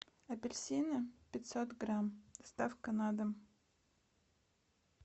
апельсины пятьсот грамм доставка на дом